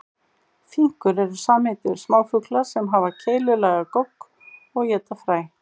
Finkur eru samheiti yfir smáfugla sem hafa keilulaga gogg og éta fræ.